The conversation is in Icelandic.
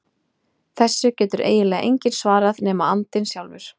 Þessu getur eiginlega enginn svarað nema andinn sjálfur.